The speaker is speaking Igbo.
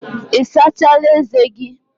Ị sachala ezé gị?